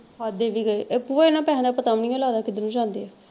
ਖਾਦੇ ਵੀ ਗਏ, ਇਹ ਭੂਆ ਇਹਨਾਂ ਪੈਸਿਆਂ ਦਾ ਪਤਾ ਵੀ ਨਹੀਂ ਓ ਲਗਦਾ ਕਿਧਰੋਂ ਜਾਂਦੇ ਆ।